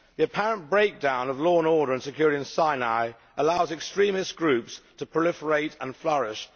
The apparent breakdown of law and order and security in Sinai allows extremist groups to proliferate and flourish.